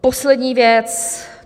Poslední věc.